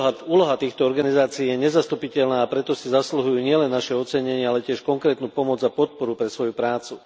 Úloha týchto organizácií je nezastupiteľná, a preto si zasluhujú nielen naše docenenie, ale tiež konkrétnu pomoc a podporu pre svoju prácu.